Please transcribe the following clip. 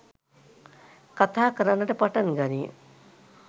කථා කරන්නට පටන් ගනී.